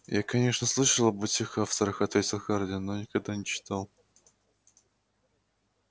я конечно слышал об этих авторах ответил хардин но никогда не читал